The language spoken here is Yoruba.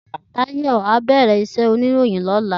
Tayo á bèrè iṣè óniróyìn lòlá